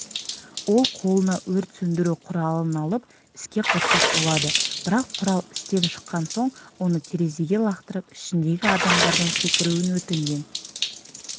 ол қолына өрт сөндіру құралын алып іске қоспақ болады бірақ құрал істен шыққан соң оны терезеге лақтырып ішіндегі адамдардан секіруін өтінген